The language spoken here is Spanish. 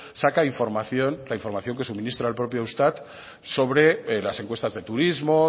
saca información la información que suministra el propio eustat sobre las encuestas de turismo